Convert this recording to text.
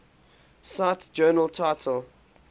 cite journal title